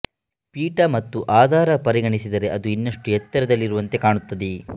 ಪೀಠ ಮತ್ತು ಆಧಾರ ಪರಿಗಣಿಸಿದರೆ ಅದು ಇನ್ನಷ್ಟು ಎತ್ತರದಲ್ಲಿರುವಂತೆ ಕಾಣುತ್ತದೆ